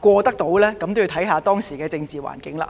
過，仍要視乎實際情況而定。